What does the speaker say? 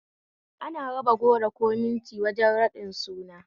Ana raba goro ko minti wajen raɗin suna